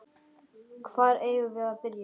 Hvar eigum við að byrja?